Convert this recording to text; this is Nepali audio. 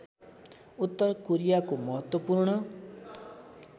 उत्तर कोरियाको महत्त्वपूर्ण